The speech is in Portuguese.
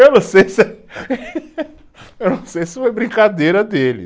Eu não sei se, eu não sei se foi brincadeira dele.